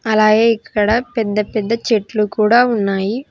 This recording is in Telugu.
అలాగే ఇక్కడ పెద్ద పెద్ద చెట్లు కూడా ఉన్నాయి.